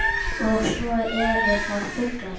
Og svo eru það fuglar